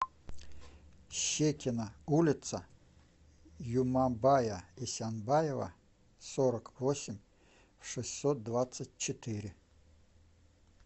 щекино улица юмабая исянбаева сорок восемь в шестьсот двадцать четыре